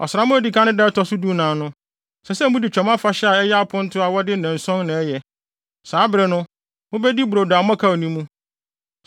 “ ‘Ɔsram a edi kan no da a ɛto so dunan no, ɛsɛ sɛ mudi Twam Afahyɛ a ɛyɛ aponto a wɔde nnanson na ɛyɛ no, saa bere no, mubedi brodo a mmɔkaw nni mu.